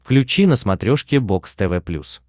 включи на смотрешке бокс тв плюс